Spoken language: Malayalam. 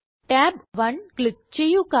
tab 1 ക്ലിക്ക് ചെയ്യുക